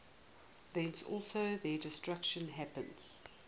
thence also their destruction happens